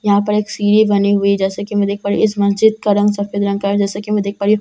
यहाँ पर सीड़ी बनी हुई जैसे कि मैं देख पा रही हूँ इस मस्जिद का रंग सफ़ेद रंग का है जैसे कि मैं देख प रही हूँ।